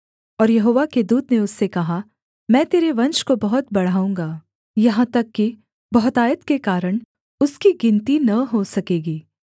और यहोवा के दूत ने उससे कहा मैं तेरे वंश को बहुत बढ़ाऊँगा यहाँ तक कि बहुतायत के कारण उसकी गिनती न हो सकेगी